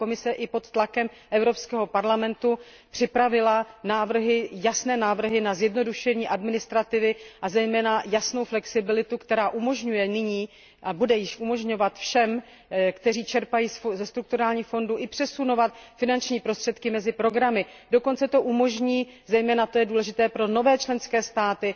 Komise i pod tlakem Evropského parlamentu připravila jasné návrhy na zjednodušení administrativy a zejména jasnou flexibilitu, která umožňuje již nyní všem, kteří čerpají ze strukturálních fondů, přesunovat finanční prostředky mezi programy, dokonce to umožní, a to je zejména důležité pro nové členské státy,